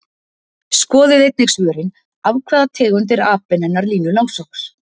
Skoðið einnig svörin: Af hvaða tegund er apinn hennar Línu langsokks?